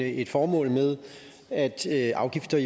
et formål med at afgifter